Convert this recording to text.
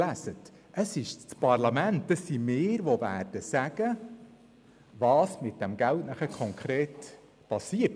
Es ist das Parlament, also wir, die sagen, was mit dem Geld konkret geschieht.